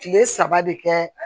Kile saba de kɛ